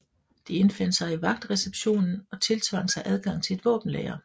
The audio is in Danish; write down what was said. De indfandt sig i vagtreceptionen og tiltvang sig adgang til et våbenlager